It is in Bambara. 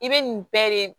I bɛ nin bɛɛ de